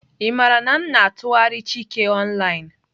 Ị maara na m na-atụgharị chike online?